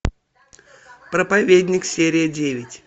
проповедник серия девять